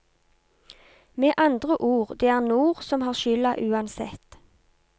Med andre ord, det er nord som har skylda uansett.